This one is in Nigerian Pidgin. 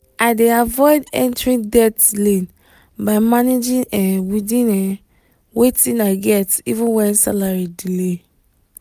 i dey avoid entering debt lane by managing um within um wetin i get even when salary delay.